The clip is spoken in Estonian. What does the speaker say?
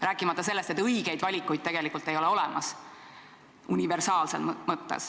Rääkimata sellest, et universaalses mõttes õigeid valikuid tegelikult ei ole olemas.